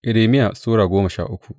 Irmiya Sura goma sha uku